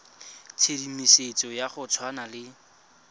tshedimosetso ya go tshwana le